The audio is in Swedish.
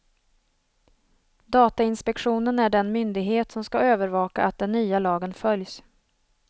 Datainspektionen är den myndighet som ska övervaka att den nya lagen följs.